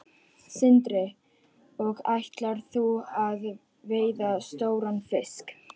Sindri: Og ætlar þú að veiða stóran fisk?